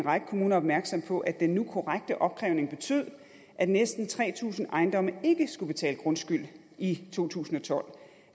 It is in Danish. række kommuner opmærksom på at den nu korrekte opkrævning betød at næsten tre tusind ejendomme ikke skulle betale grundskyld i to tusind og tolv